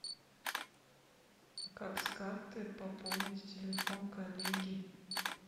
как с карты пополнить телефон коллеги